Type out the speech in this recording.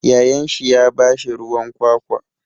Yayansa ya ba shi ruwan kwakwa.